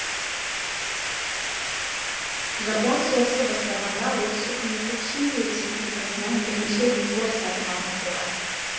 жапон соғысы басталғанда орыс үкіметі чили республикасынан бірнеше линкор сатып алмақ болады